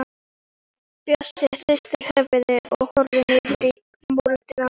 Bjössi hristir höfuðið og horfir niður í moldina.